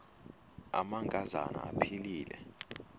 amanka zana aphilele